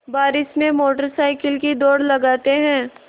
बारिश में motorcycle की दौड़ लगाते हैं